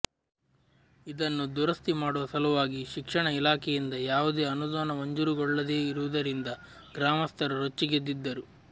ಇದನ್ನು ದುರಸ್ತಿ ಮಾಡುವ ಸಲುವಾಗಿ ಶಿಕ್ಷಣ ಇಲಾಖೆಯಿಂದ ಯಾವುದೇ ಅನುದಾನ ಮಂಜೂರುಗೊಳ್ಳದೇ ಇರುವುದರಿಂದ ಗ್ರಾಮಸ್ಥರು ರೊಚ್ಚಿಗೆದ್ದಿದ್ದರು